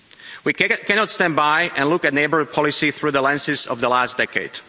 We cannot stand by and look at neighbourhood policy through the lenses of the last decade.